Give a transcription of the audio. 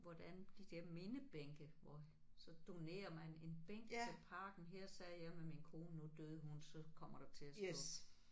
Hvordan de der mindebænke hvor så donerer man en bænk til parken her sad jeg med min kone nu døde hun så kommer der til at stå